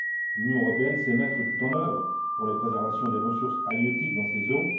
L'Union européenne sait mettre tout en œuvre pour la préservation des ressources halieutiques dans ces eaux.